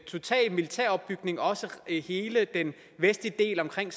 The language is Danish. total militær opbygning også i hele den vestlige del omkring